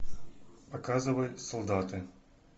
показывай солдаты